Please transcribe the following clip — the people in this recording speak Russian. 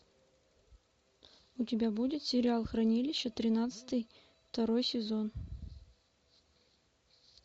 у тебя будет сериал хранилище тринадцатый второй сезон